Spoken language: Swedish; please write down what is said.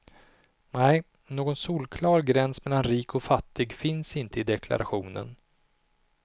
Nej, någon solklar gräns mellan rik och fattig finns inte i deklarationen.